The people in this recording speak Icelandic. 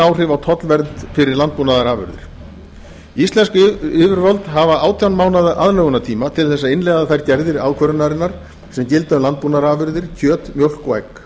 áhrif á tollvernd fyrir landbúnaðarafurðir íslensk yfirvöld hafa átján mánaða aðlögunartíma til að innleiða þær gerðir ákvörðunarinnar sem gilda um landbúnaðarafurðir kjöt mjólk og egg